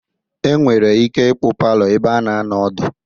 Enwere ike ịkpọ palọ ebe a na-anọ ọdụ.